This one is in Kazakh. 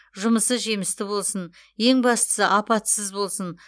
жұмысы жемісті болсын ең бастысы апатсыз болсын